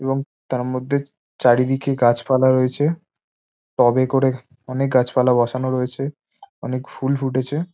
এবং তার মধ্যে চারিদিকে গাছপালা রয়েছে টবে করে অনেক গাছপালা বসানো রয়েছে অনেক ফুল ফুটেছে।